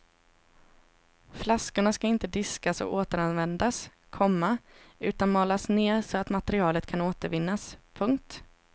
Flaskorna ska inte diskas och återanvändas, komma utan malas ner så att materialet kan återvinnas. punkt